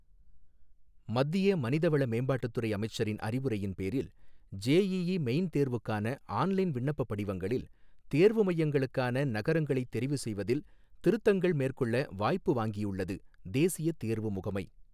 மத்திய மனித வள மேம்பாட்டுத் துறை அமைச்சரின் அறிவுரையின் பேரில், ஜேஈஈ மெயின் தேர்வுக்கான ஆன்லைன் விண்ணப்பப் படிவங்களில், தேர்வு மையங்களுக்கான நகரங்களைத் தெரிவு செய்வதில் திருத்தங்கள் மேற்கொள்ள வாய்ப்பு வாங்கியுள்ளது, தேசிய தேர்வு முகமை